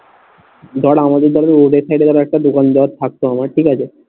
ধর আমাদের এখানে road এর side একটা দোকান দেয়া থাকতো আমার ঠিক আছে